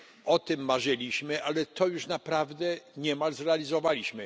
O tym marzyliśmy, ale to już naprawdę niemal zrealizowaliśmy.